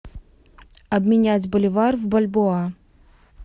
обменять боливар в бальбоа